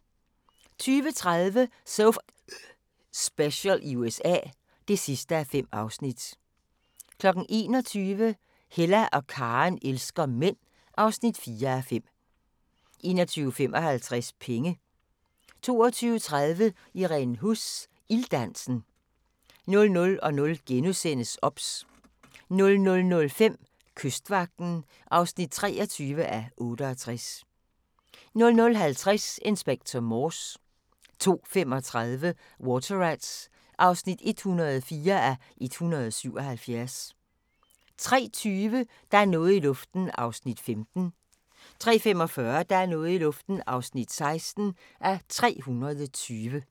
20:30: So F***ing Special i USA (5:5) 21:00: Hella og Karen elsker mænd (4:5) 21:55: Penge 22:30: Irene Huss – Ilddansen 00:00: OBS * 00:05: Kystvagten (23:68) 00:50: Inspector Morse 02:35: Water Rats (104:177) 03:20: Der er noget i luften (15:320) 03:45: Der er noget i luften (16:320)